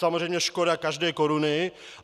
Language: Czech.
Samozřejmě škoda každé koruny.